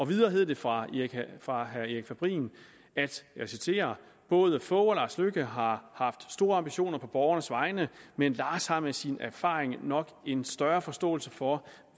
videre hed det fra fra erik fabrin både fogh og lars løkke har haft store ambitioner på borgernes vegne men lars har med sin erfaring nok en større forståelse for